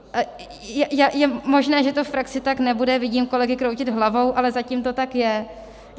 Je možné, že to v praxi tak nebude, vidím kolegy kroutit hlavou, ale zatím to tak je.